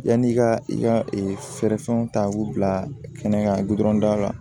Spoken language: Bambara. Yanni i ka i ka fɛɛrɛ fɛnw ta k'u bila kɛnɛ kan